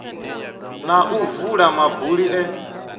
na u vula mabuli e